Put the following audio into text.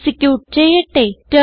execute ചെയ്യട്ടെ